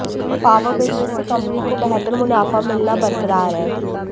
power business से company को बेहतर मुनाफा मिलना बरकरार है